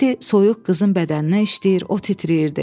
İndi soyuq qızın bədəninə işləyir, o titrəyirdi.